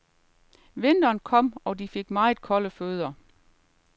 Vinteren kom, og de fik meget kolde fødder.